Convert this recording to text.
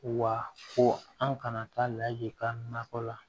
Wa ko an kana taa laji ka na nakɔ la